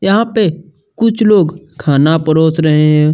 यहाँ पे कुछ लोग खाना परोस रहे हैं।